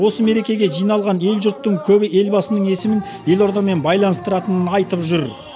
осы мерекеге жиналған ел жұрттың көбі елбасының есімін елордамен байланыстыратынын айтып жүр